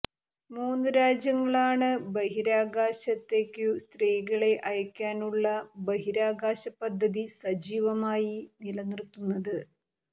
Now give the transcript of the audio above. മൂന്നു രാജ്യങ്ങളാണ് ബഹിരാകാശത്തേയ്ക്കു സ്ത്രീകളെ അയയ്ക്കാനുള്ള ബഹിരാകാശപദ്ധതി സജീവമായി നിലനിർത്തുന്നത്